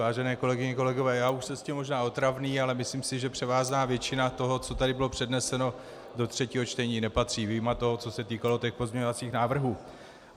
Vážené kolegyně, kolegové, já už jsem s tím možná otravný, ale myslím si, že převážná většina toho, co tady bylo předneseno, do třetího čtení nepatří, vyjma toho, co se týkalo těch pozměňovacích návrhů.